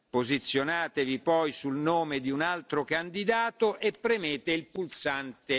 Posizionatevi poi sul nome di un altro candidato e premete il pulsante